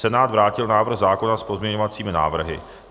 Senát vrátil návrh zákona s pozměňovacími návrhy.